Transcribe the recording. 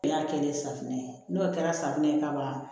N y'a kelen safunɛ ye n'o kɛra safunɛ ye kaban